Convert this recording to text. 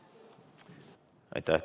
Aitäh!